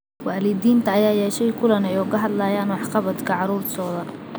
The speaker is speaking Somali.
Waalidiinta ayaa yeeshay kulan ay uga hadlayaan waxqabadka caruurtooda.